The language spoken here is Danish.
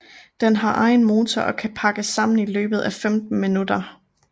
Den har egen motor og kan pakkes sammen i løbet af 15 minutter